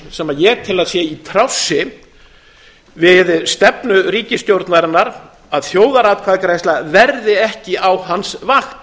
sem ég tel að sé í trássi við stefnu ríkisstjórnarinnar að þjóðaratkvæðagreiðsla verði ekki á hans vakt